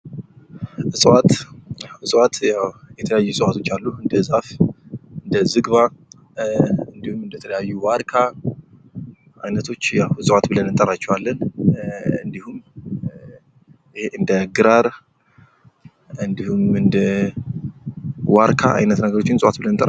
እፅዋት፦ እፅዋት ያው የተለያዩ እፅዋቶች አሉ እንደ ዛፍ፣ እንደ ዝግባ፣ እንዲሁም እንደተለያዩ ዋርካ አይነቶች ያው እፅዋት ብለን እንጠራቸዋለንኴ፤ እንዲሁም እንደ ግራር እንዲሁም እንደ ዋርካ አይነት ነገሮችን እፅዋት ብለን እንጠራቸዋለን።